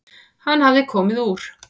Hann hafði komið úr